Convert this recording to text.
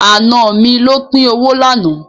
Àna mi ló pín owó lánàá.